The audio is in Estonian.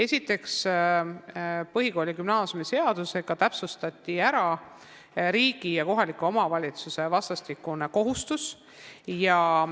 Esiteks, põhikooli- ja gümnaasiumiseadusega täpsustati riigi ja kohaliku omavalitsuse vastastikuseid kohustusi.